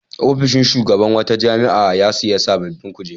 Ofishin shugaban wata jami'a ya sayi sabbin kujeru.